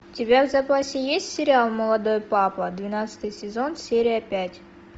у тебя в запасе есть сериал молодой папа двенадцатый сезон серия пять